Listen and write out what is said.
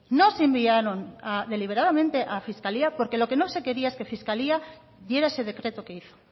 no se enviaron deliberadamente a fiscalía porque lo que no se quería es que fiscalía diera ese decreto que hizo